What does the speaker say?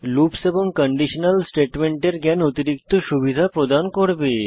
loops এবং conditional স্টেটমেন্টের জ্ঞান অতিরিক্ত সুবিধা প্রদান করবে